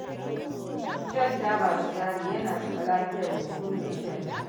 Shan taba sigari yana taɓa lafiyar huhun mai shan ta.